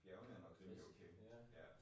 Bjergene er nok rimelig okay ja